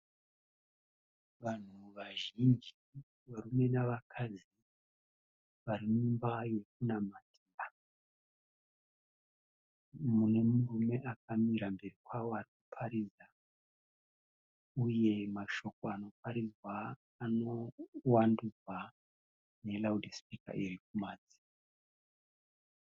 Vanhu vazhinji, varume nevakadzi vari mumba yekunamatira. Mune murume akamira mberi kwavo achiparidza. Uye mashoko anoparidzwa anovandurwa ne raudha sipika irikumadziro.